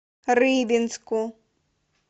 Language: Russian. рыбинску